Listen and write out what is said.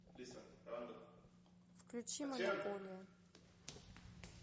включи монополия